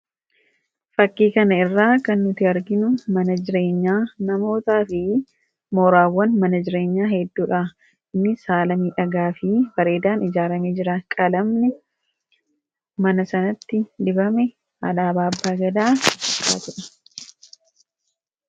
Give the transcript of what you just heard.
Fakkii kana irraa kan nuti arginu mana jireenyaa namootaa fi mooraawwan mana jireenyaa hedduudha. Innis saalonii miidhagaa fi bareedaadhaan ijaaramee jira. Qalamni mana sanatti dibame alaabaa Abbaa Gadaa kan qabudha.